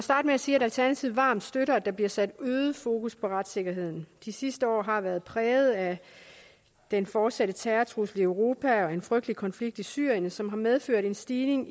starte med at sige at alternativet varmt støtter at der bliver sat øget fokus på retssikkerheden de sidste år har været præget af den fortsatte terrortrussel i europa og en frygtelig konflikt i syrien som også har medført en stigning